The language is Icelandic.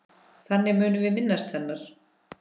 Þannig munum við minnast hennar.